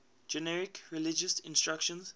generic religious instruction